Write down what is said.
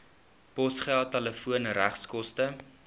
posgeld telefoon regskoste